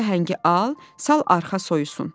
Bu səhəngi al, sal arxa soyusun.